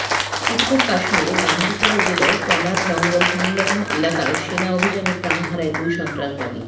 উত্তর কাশ্মীরের বান্দিপোরা জেলার পনার জঙ্গল সংলগ্ন এলাকায় সেনা অভিযানে প্রাণ হারায় দুই সন্ত্রাসবাদী